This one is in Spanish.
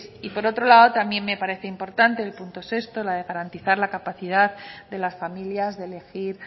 y por otro lado también me parece importante el punto sexto la de garantizar la capacidad de las familias de elegir